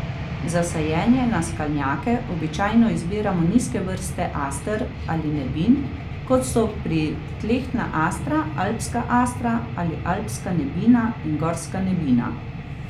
Za sajenje na skalnjake običajno izbiramo nizke vrste aster ali nebin, kot so pritlehna astra, alpska astra ali alpska nebina in gorska nebina.